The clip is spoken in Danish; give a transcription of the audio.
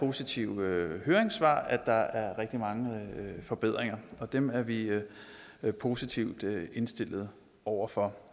af positive høringssvar at der er rigtig mange forbedringer og dem er vi positivt indstillet over for